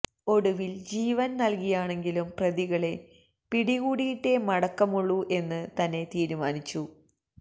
ഒടുവില് ജീവന് നല്കിയാണെങ്കിലും പ്രതികളെ പിടികൂടിയിട്ടേ മടക്കമുള്ളൂ എന്ന് തന്നെ തീരുമാനിച്ചു